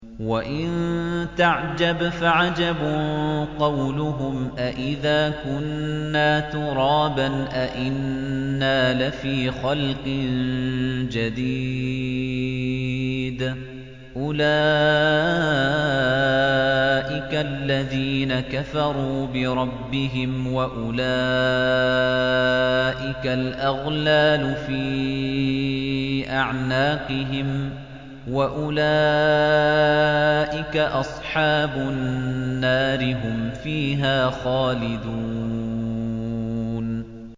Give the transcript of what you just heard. ۞ وَإِن تَعْجَبْ فَعَجَبٌ قَوْلُهُمْ أَإِذَا كُنَّا تُرَابًا أَإِنَّا لَفِي خَلْقٍ جَدِيدٍ ۗ أُولَٰئِكَ الَّذِينَ كَفَرُوا بِرَبِّهِمْ ۖ وَأُولَٰئِكَ الْأَغْلَالُ فِي أَعْنَاقِهِمْ ۖ وَأُولَٰئِكَ أَصْحَابُ النَّارِ ۖ هُمْ فِيهَا خَالِدُونَ